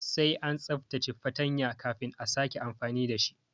Sai an tsaftace fartanya kafin a sake amfani dashi